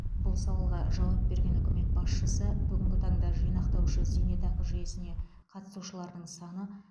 бұл сауалға жауап берген үкімет басшысы бүгінгі таңда жинақтаушы зейнетақы жүйесіне қатысушылардың саны